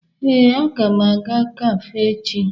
Ee, aga m aga kafe echi.